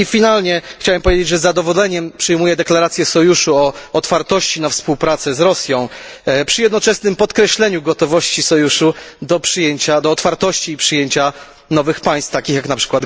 Na koniec chciałem powiedzieć, że z zadowoleniem przyjmuję deklarację sojuszu o otwartości na współpracę z Rosją, przy jednoczesnym podkreśleniu gotowości sojuszu do otwartości i przyjęcia nowych państw takich jak np.